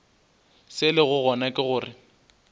se lego gona ke gore